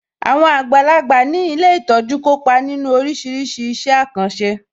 Àwọn àgbàlagbà ní ilé ìtọ́jú kópa nínu oríṣiríṣi iṣẹ́ àkànṣe